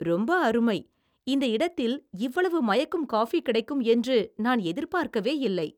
ரொம்ப அருமை! இந்த இடத்தில் இவ்வளவு மயக்கும் காஃபி கிடைக்கும் என்று நான் எதிர்பார்க்கவே இல்லை.